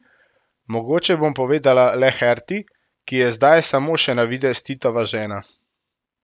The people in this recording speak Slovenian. Mogoče bom povedala le Herti, ki je zdaj samo še na videz Titova žena.